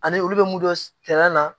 Ani olu bɛ mun dɔn na